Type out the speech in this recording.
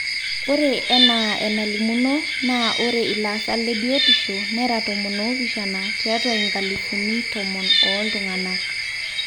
ore enaa enalimuno naa ore ilaasak lebiotishu nera tomon oopishana tiatwa inkalifuni tomon ooltung'anak